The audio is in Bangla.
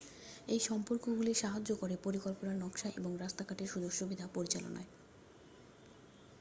এই সম্পর্কগুলি সাহায্য করে পরিকল্পনা নকশা এবং রাস্তাঘাটের সুযোগসুবিধা পরিচালনায়